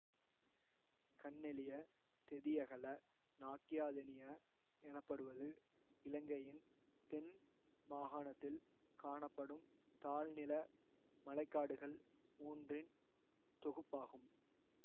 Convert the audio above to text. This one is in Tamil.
கன்னெலியதெதியகலநாக்கியாதெனிய எனப்படுவது இலங்கையின் தென் மாகாணத்தில் காணப்படும் தாழ்நில மழை காடுகள் மூன்றின் தொகுப்பாகும்